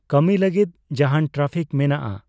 ᱠᱟᱹᱢᱤ ᱞᱟᱹᱜᱤᱫ ᱡᱟᱦᱟᱱ ᱴᱨᱟᱯᱷᱤᱠ ᱢᱮᱱᱟᱜᱼᱟ